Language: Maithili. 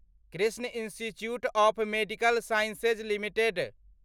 Krishna institute of medical sciences limited